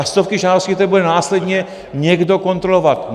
A stovky žádostí, které bude následně někdo kontrolovat.